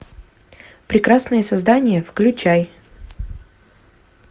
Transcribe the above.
прекрасные создания включай